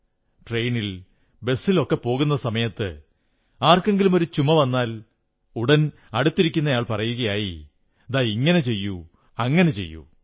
ട്രെയിനിൽ ബസ്സിൽ പോകുന്ന സമയത്ത് ആർക്കെങ്കിലും ചുമ വന്നാൽ ഉടൻ അടുത്തിരിക്കുന്നയാൾ പറയുകയായി ദാ ഇങ്ങനെ ചെയ്യൂ അങ്ങനെ ചെയ്യൂ